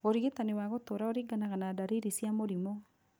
ũrigitani wa gũtũra ũringanaga na ndariri cia mũrimũ